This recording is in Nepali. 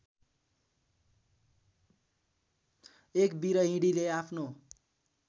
एक विरहिणीले आफ्नो